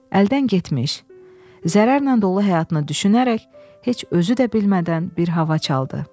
Əldən getmiş zərərlə dolu həyatını düşünərək heç özü də bilmədən bir hava çaldı.